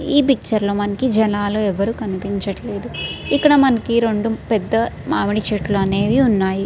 ఈ పిక్చర్ లో మనకి జనాలు ఎవరు కనిపించుటలేదు ఇక్కద మనకి రెండు పెద్ద మామిడిచెట్టు అనేవి ఉన్నాయి.